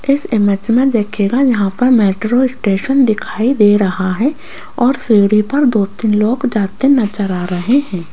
इस इमेज देखिएगा यहां पर मेट्रो स्टेशन दिखाई दे रहा है और सीढ़ी पर दो तीन लोग जाते नजर आ रहे हैं।